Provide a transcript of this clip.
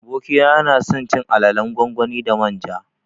Abokina yanason cin alalan gwangwani da manja